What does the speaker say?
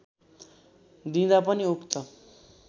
दिँदा पनि उक्त